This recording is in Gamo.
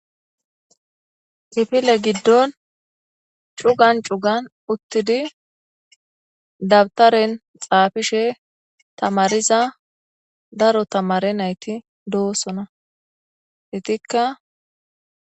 Kifile gidon cugan cugan uttidi dabuteren xafishe tamariza daro tamare nayti dosona ettika